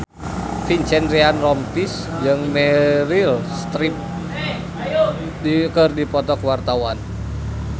Vincent Ryan Rompies jeung Meryl Streep keur dipoto ku wartawan